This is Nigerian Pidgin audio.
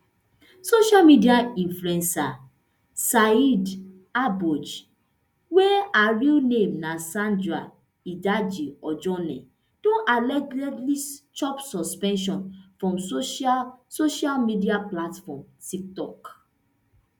social media influencer saidaboj wey her real name na sarah idaji ojone don allegedly chop suspension from social social media platform tiktok